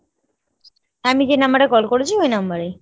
আমি যে number এ call করেছি ওই number এ।